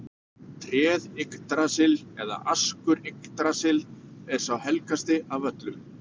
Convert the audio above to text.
Tréð Yggdrasill eða askur Yggdrasils er sá helgasti af öllum.